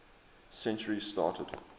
century started